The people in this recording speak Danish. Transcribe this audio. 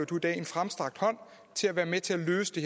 dag en fremstrakt hånd om at være med til at løse det